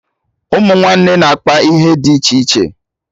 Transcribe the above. Ụmụ nwanne na-akpa ihe dị iche iche